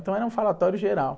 Então era um falatório geral.